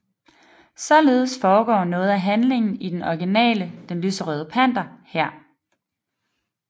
Således foregår noget af handlingen i den originale Den lyserøde panter her